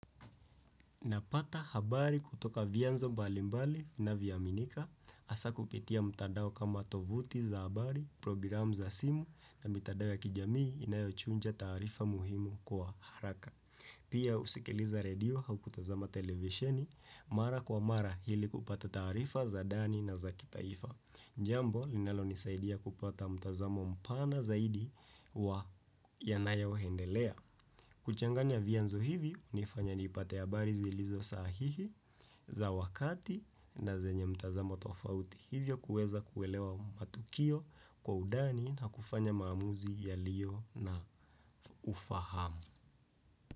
Napata habari kutoka vyanzo mbalimbali na vyaminika, hasa kupitia mtandao kama tovuti za habari, program za simu na mitandao ya kijamii inayochunja tarifa muhimu kwa haraka. Pia usikiliza radio au kutazama televisheni, mara kwa mara hili kupata tarifa za dani na za kitaifa. Jambo, linalo nisaidia kupata mtazamo mpana zaidi wa yanayoendelea. Kuchanganya vyanzo hivi hunifanya nipate habari zilizosahihi za wakati na zenye mtazamo tofauti hivyo kuweza kuelewa matukio kwa udani na kufanya maamuzi yaliyo na ufahamu.